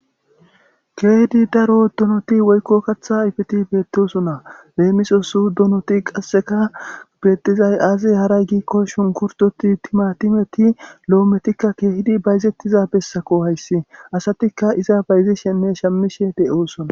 keehidi daro dunoti woykko kaththa ifeti beettesona beemisosu dunoti qasseka bettizay aazi haray giikko shunkurdoti timatimeti lo7ometikka keehidi bayzettiza bessako hayssi asatikka iza bayzi shenne shamishe de7oosona